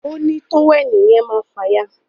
òní tówẹ́ẹ̀nù yen máa fàya